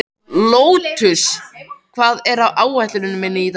Lótus, hvað er á áætluninni minni í dag?